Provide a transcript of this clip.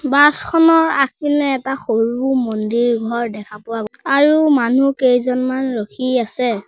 বাছখনৰ আগপিনে এটা সৰু মন্দিৰ ঘৰ দেখা পোৱা আৰু মানুহ কেইজনমান ৰখি আছে।